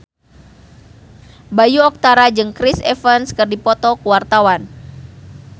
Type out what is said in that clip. Bayu Octara jeung Chris Evans keur dipoto ku wartawan